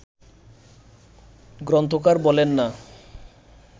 গ্রন্থকার বলেন না